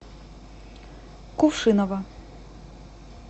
кувшиново